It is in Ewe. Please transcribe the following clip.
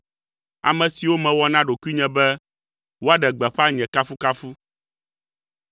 ame siwo mewɔ na ɖokuinye be woaɖe gbeƒã nye kafukafu.